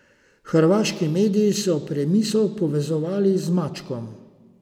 Hrvaški mediji so Premiso povezovali z Mačkom.